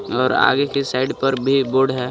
और आगे की साइड पर भी बोर्ड है.